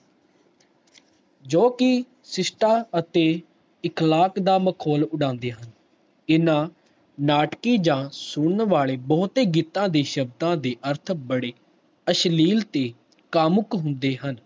ਜੋ ਕਿ ਸ਼ਿਸ਼ਟਾ ਅਤੇ ਇਕਲਾਤ ਦਾ ਮਖੌਲ ਉਦੰਡੇ ਹਨ ਇਨਾ ਨਾਟਕੀ ਜਾ ਸੁਨਣ ਵਾਲੇ ਬਹੁਤ ਹੀ ਗੀਤ ਦੀ ਸ਼ਬਦਾਂ ਦੇ ਅਰਥ ਬੜੇ ਅਸ਼ਲੀਲ ਤੇ ਕਾਮੁਕ ਹੁੰਦੇ ਹਨ